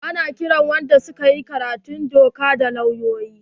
Ana kiran wanda su ka yi karatun doka da lauyoyi.